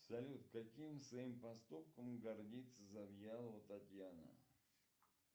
салют каким своим поступком гордится завьялова татьяна